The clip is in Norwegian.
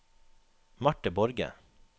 Marte Borge